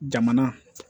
Jamana